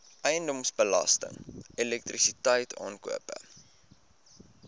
eiendomsbelasting elektrisiteit aankope